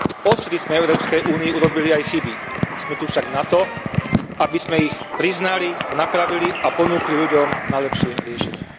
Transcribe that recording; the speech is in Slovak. Odvtedy sme v Európskej únii urobili aj chyby, sme tu však na to, aby sme ich priznali, napravili a ponúkli ľuďom najlepšie riešenia.